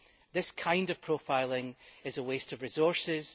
This kind of profiling is a waste of resources.